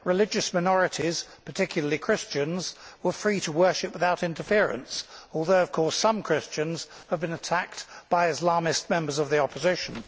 Religious minorities, particularly Christians, were free to worship without interference, although, of course, some Christians have been attacked by Islamist members of the opposition.